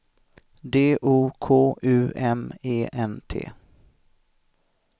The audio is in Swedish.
D O K U M E N T